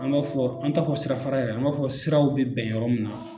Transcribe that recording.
An b'a fɔ an t'a fɔ sira fara yɛrɛ an b'a fɔ siraw bɛ bɛn yɔrɔ min na